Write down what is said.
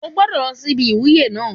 Ó ò gbọ́dọ̀ lọ síbi ìwúyé náà